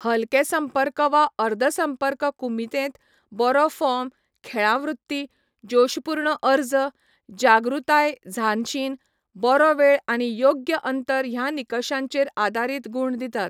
हलके संपर्क वा अर्द संपर्क कुमितेंत, बरो फॉर्म, खेळां वृत्ती, जोशपूर्ण अर्ज, जागृतायझानशिन, बरो वेळ आनी योग्य अंतर ह्या निकशांचेर आदारीत गुण दितात.